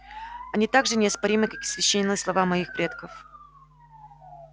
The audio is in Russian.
они так же неоспоримы как и священные слова моих предков